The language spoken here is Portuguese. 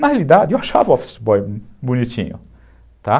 Na realidade, eu achava o office boy bonitinho, tá.